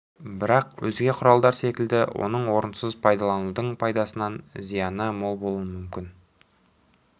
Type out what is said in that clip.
бірақ өзге құралдар секілді оны орынсыз қолданудың пайдасынан зияны мол болуы мүмкін